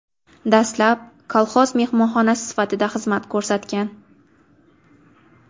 Dastlab, kolxoz mehmonxonasi sifatida xizmat ko‘rsatgan.